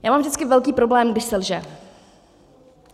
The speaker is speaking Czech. Já mám vždycky velký problém, když se lže.